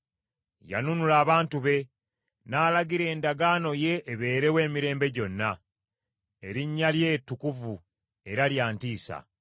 Yanunula abantu be; n’alagira endagaano ye ebeerewo emirembe gyonna. Erinnya lye ttukuvu era lya ntiisa!